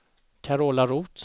Carola Roth